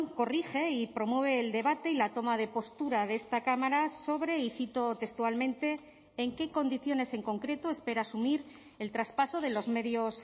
corrige y promueve el debate y la toma de postura de esta cámara sobre y cito textualmente en qué condiciones en concreto espera asumir el traspaso de los medios